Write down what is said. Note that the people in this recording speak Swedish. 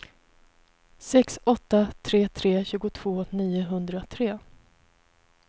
sex åtta tre tre tjugotvå niohundratre